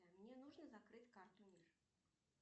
мне нужно закрыть карту мир